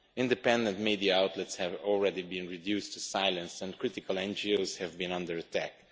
Independent media outlets have already been reduced to silence and critical NGOs have been under attack.